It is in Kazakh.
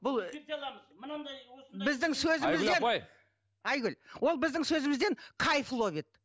біздің сөзімізден айгүл ол біздің сөзімізден кайф ловит